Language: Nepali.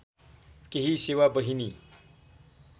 केही सेवा बहिनी